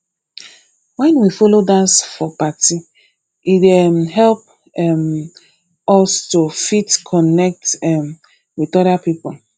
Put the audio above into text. when we follow dance for party e dey um help um us to fit connect um with oda pipo